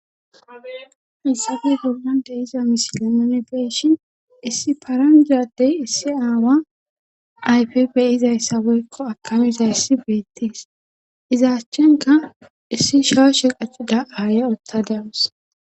hissafi hormon de iza misilemane beeshin issi paranjadey issi aawa ayfi beyizayssabeykko akamiza issi beetties izaachchenka issi shoo she qachida aaya utta dawusi